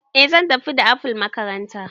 Eh zan tafi da apple makaranta